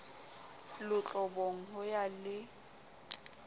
lotlobong ho ya ho le